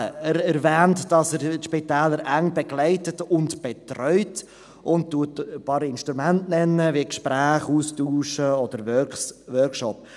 Er erwähnt, dass er die Spitäler eng begleitet und betreut, und nennt ein paar Instrumente wie Gespräche, Austausche oder Workshops.